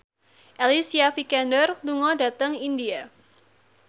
Alicia Vikander lunga dhateng India